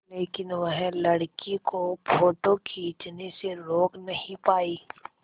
लेकिन वह लड़की को फ़ोटो खींचने से रोक नहीं पाई